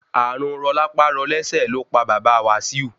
Ààrùn rọlápá-rọlẹ́sẹ̀ lópa bàbá Wasiu.